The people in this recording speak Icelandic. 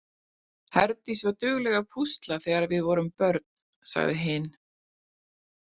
Herdís var dugleg að púsla þegar við vorum börn, sagði hin.